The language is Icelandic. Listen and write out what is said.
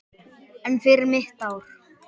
En fyrir mitt ár?